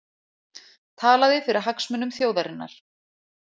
Talaði fyrir hagsmunum þjóðarinnar